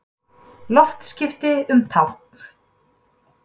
Loftskipti um tálkn